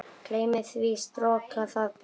Gleymi því, stroka það burt.